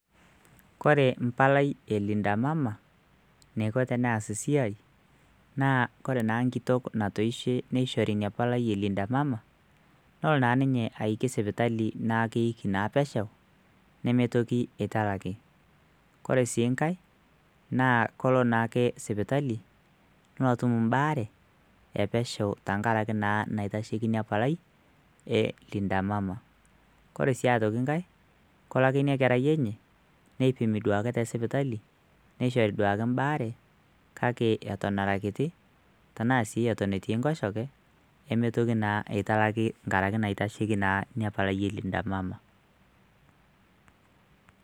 kore mpalai e linda mama neiko teneas siai naa kore naa nkitok natoishe neishori inia palai e linda mama nolo naa ninye aiki sipitali naakeiki naa pesho nemetoki italaki kore sii nkae naa kolo naake sipitali nolo atum imbaare epesho tenkarake naa naitasheiki ina palai e linda mama kore sii atoki nkae kelo ake kerai enye neipimi duo ake tesipitali neishori duake mbaare kake eton ara kiti tenaa sii eton etii nkoshoke nemetoki naa eitalaki nkarake naitasheki naa inia palai e linda mama.